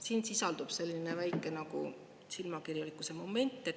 Siin sisaldub selline väike silmakirjalikkuse moment.